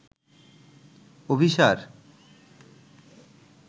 Abhisar